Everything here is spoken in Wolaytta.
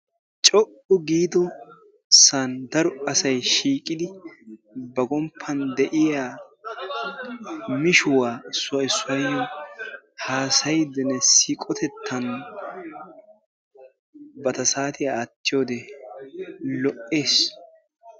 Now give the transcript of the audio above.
co''u giido saan daro asay shiiqidi ba gomppan de'iyaa mishshuwa issoy issuwayyo haassayyidenne siiqotettan bantta saatiya aattiyoode lo''ees.